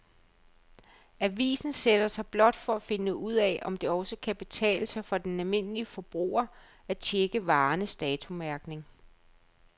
Avisen sætter sig blot for at finde ud af, om det også kan betale sig for den almindelige forbruger at checke varernes datomærkning.